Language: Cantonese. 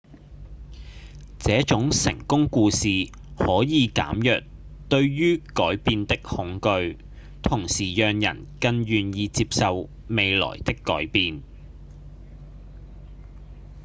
這種成功故事可以減弱對於改變的恐懼同時讓人更願意接受未來的改變